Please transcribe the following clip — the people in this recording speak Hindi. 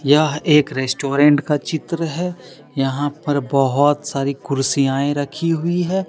यह एक रेस्टोरेंट का चित्र है यहां पर बहुत सारी कुर्सियांए रखी हुई है।